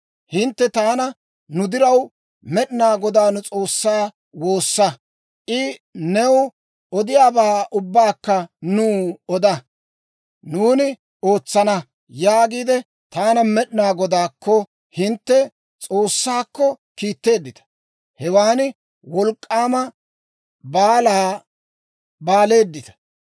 Hintte taana, ‹Nu diraw Med'inaa Godaa nu S'oossaa woossa; I new odiyaabaa ubbaakka nuw oda; nuuni ootsana› yaagiide, taana Med'inaa Godaakko, hintte S'oossaakko, kiitteeddita; hewan wolk'k'aama balaa baleeddita.